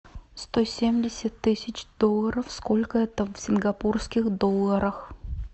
сто семьдесят тысяч долларов сколько это в сингапурских долларах